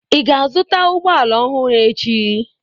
Ị ga-azụta ụgbọ ala ọhụrụ echi?